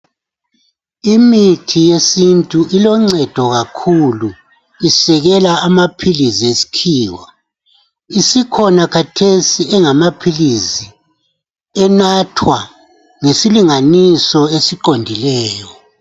Imithi yesintu iloncedo kakhulu. Isikela amaphilisi yesikhiwa . Isikhona khathesi engamaphilisi enathwa ngesilinganiso esiqondileyo.